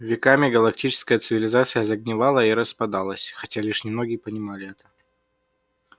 веками галактическая цивилизация загнивала и распадалась хотя лишь немногие понимали это